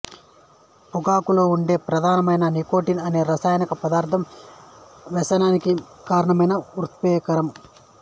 పొగాకులో ఉండే ప్రధానమైన నికోటిన్ అనే రసాయన పదార్థం వ్యసనానికి కారణమైన ఉత్ప్రేరకం